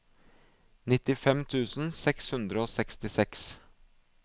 nittifem tusen seks hundre og sekstiseks